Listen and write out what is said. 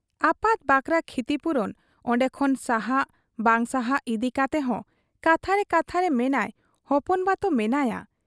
ᱟᱯᱟᱛ ᱵᱟᱠᱷᱨᱟ ᱠᱷᱤᱛᱤᱯᱩᱨᱚᱱ ᱚᱱᱰᱮᱠᱷᱚᱱ ᱥᱟᱦᱟᱜ ᱵᱟᱝ ᱥᱟᱦᱟᱜ ᱤᱫᱤ ᱠᱟᱛᱮᱦᱚᱸ ᱠᱟᱛᱷᱟᱨᱮ ᱠᱟᱛᱷᱟᱨᱮ ᱢᱮᱱᱟᱭ ᱦᱚᱯᱚᱱᱵᱟᱛᱚ ᱢᱮᱱᱟᱭᱟ ᱾